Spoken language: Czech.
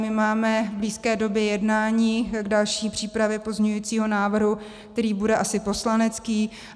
My máme v blízké době jednání k další přípravě pozměňujícího návrhu, který bude asi poslanecký.